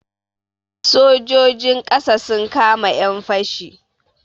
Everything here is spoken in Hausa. Sojojin ƙasa sun kama 'yan fashi.